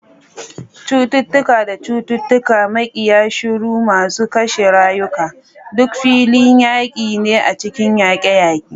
Cututtuka da cututtuka, makiya shuru masu kashe rayuka, duk filin yaƙi ne a cikin yaƙe-yaƙe.